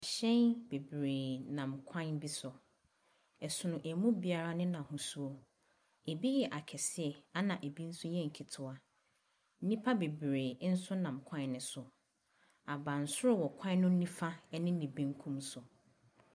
Ahyɛn bebree nam kwan bi so. Ɛsono mu biara ne n'ahosuo. Ebi yɛ akɛseɛ ɛnna bi nso yɛ nketewa. Nnipa bebree nso nam kwan no so. Abansoro wɔ kwan no nifa ne ne benkum so.